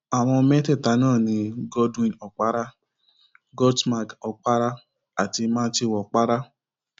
àwọn mẹta náà ni cs] godwin okpara godsmag okpara àti matthew okpara